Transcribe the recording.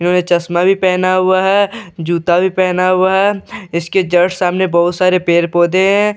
इन्‍होंने चश्‍मा भी पहना हुआ है अ जूता भी पहना हुआ है अ इसके जस्‍ट सामने बहुत सारे पेड़-पौधे है ऐं ।